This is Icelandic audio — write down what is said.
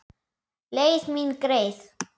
Leið mín greið.